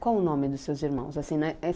Qual o nome dos seus irmãos? Assim